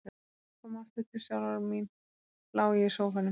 Þegar ég kom aftur til sjálfrar mín lá ég í sófanum.